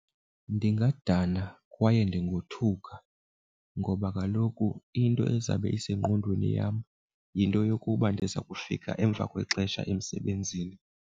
Ndingadana kwaye ndingothuka ngoba kaloku into ezabe esengqondweni yam yinto yokuba ndiza kufika emva kwexesha emsebenzini.